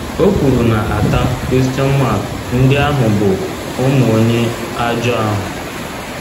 O kwuru na ata ndị ahụ bụ “ ụmụ onye ajọ ahụ. ”